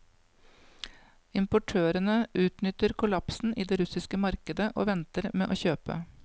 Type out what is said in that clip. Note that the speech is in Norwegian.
Importørene utnytter kollapsen i det russiske markedet og venter med å kjøpe.